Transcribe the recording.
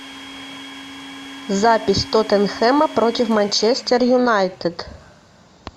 запись тоттенхэма против манчестер юнайтед